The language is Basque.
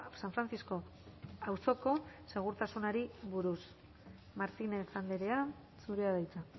san francisco auzoko segurtasunari buruz martínez andrea zurea da hitza